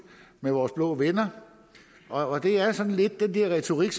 med vores blå venner og det er sådan lidt den der retorik